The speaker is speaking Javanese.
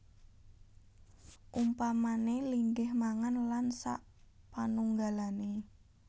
Umpamané linggih mangan lan sapanunggalané